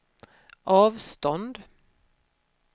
avstånd